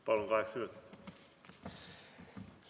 Palun, kaheksa minutit kokku.